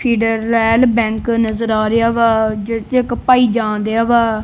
ਫੈਡਰਲਡੈ bank ਨਜ਼ਰ ਆ ਰਿਹਾ ਵਾ ਜਿਸ ਚੑ ਇੱਕ ਭਾਈ ਜਾਣਦਿਆ ਵਾ।